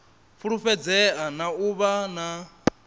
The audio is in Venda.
fulufhedzea na u vha na